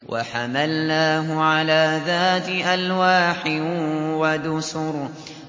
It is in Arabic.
وَحَمَلْنَاهُ عَلَىٰ ذَاتِ أَلْوَاحٍ وَدُسُرٍ